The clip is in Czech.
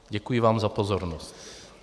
Děkuji vám za pozornost.